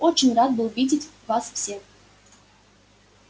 очень рад был видеть вас всех